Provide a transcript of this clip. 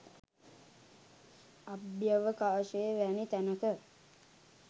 අභ්‍යවකාශය වැනි තැනක